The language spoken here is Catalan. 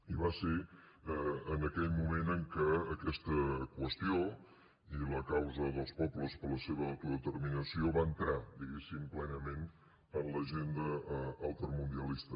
i va ser en aquell moment en què aquesta qüestió i la causa dels pobles per la seva autodeterminació van entrar diguéssim plenament en l’agenda altermundialista